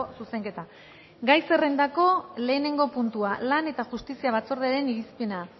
zuzenketa gai zerrendako lehenengo puntua lan eta justizia batzordearen irizpena